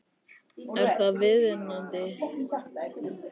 Er það viðunandi?